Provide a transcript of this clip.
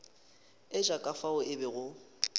etša ka fao ke bego